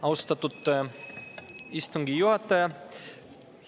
Austatud istungi juhataja!